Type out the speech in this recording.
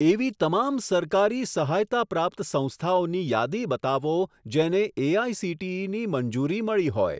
એવી તમામ સરકારી સહાયતાપ્રાપ્ત સંસ્થાઓની યાદી બતાવો જેને એઆઇસીટીઈની મંજૂરી મળી હોય.